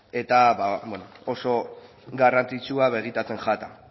eta oso garrantzitsua begitantzen jata